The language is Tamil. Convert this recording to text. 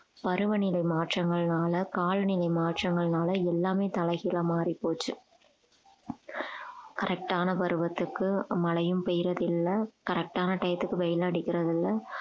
பருவநிலை மாற்றங்கள்னால காலநிலை மாற்றங்கள்னால எல்லாமே தலைகீழா மாறிப் போச்சு correct ஆன பருவத்துக்கு மழையும் பெய்யறதில்லை correct ஆன time த்துக்கு வெயில் அடிக்கிறதில்லை